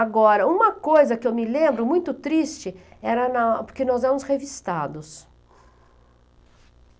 Agora, uma coisa que eu me lembro, muito triste, era na, porque nós éramos revistados.